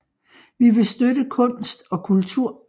Vi vil støtte kunst og kultur